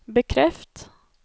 bekreft